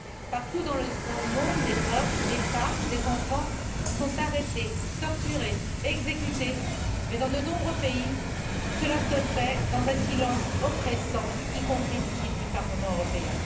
Partout dans le monde, des hommes, des femmes, des enfants sont arrêtés, torturés, exécutés, mais dans de nombreux pays, cela se fait dans un silence oppressant, y compris du Parlement européen.